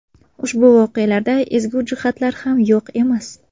Ushbu voqealarda ezgu jihatlar ham yo‘q emas.